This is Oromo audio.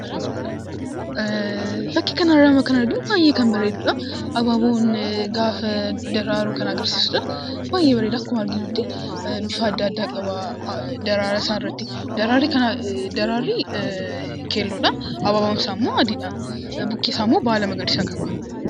Fakkii kana irraa kan arginu baayyee kan bareeduudha; abaaboon gaafa daraaru kan agarsiisuudha. Baayyee bareeda akkuma arginutti bifa addaa addaa qabaa. Daraaraa isaa irratti daraarri keelloodha. Abaaboon isaa immoo adiidha. Mukti isaa immoo baala magariisaa qaba.